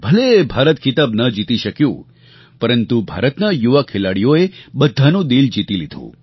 ભલે ભારત ખિતાબ ન જીતી શક્યું પરંતુ ભારતના યુવા ખેલાડીઓએ બધાનું દિલ જીતી લીધું